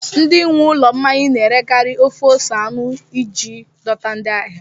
Ndị nwe ụlọ mmanya na-erekarị ofe ose anụ iji dọta ndị ahịa